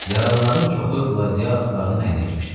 Yaralıların çoxu qladiatorların əlinə keçdi.